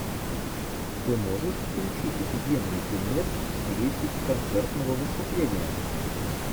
ты можешь включить офигенный фильмец в стилистике концертного выступления